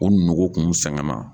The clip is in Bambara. U nogo kun sɛgɛnna.